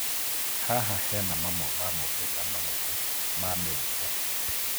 Haha hena mamwe ma maumĩrĩra manene ma mĩrimũ.